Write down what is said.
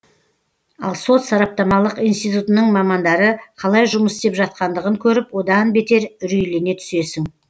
ал сот сараптамалық институтының мамандары қалай жұмыс істеп жатқандығын көріп одан бетер үрейлене түсесің